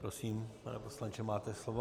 Prosím, pane poslanče, máte slovo.